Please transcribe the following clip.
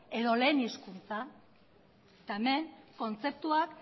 edo lehen hezkuntza eta hemen kontzeptuak